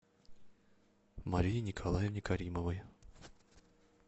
марии николаевне каримовой